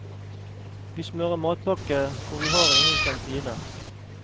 Vi smører matpakke for vi har ingen kantine.